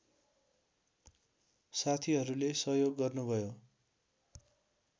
साथीहरूले सहयोग गर्नुभयो